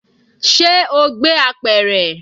Ṣe o gbé apẹ̀rẹ̀?